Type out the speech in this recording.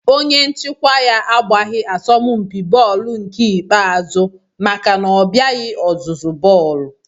Onye nchịkwa ya agbaghị asọmpi bọọlụ nke ikpeazụ maka na ọ bịaghị ọzụzụ bọọlụ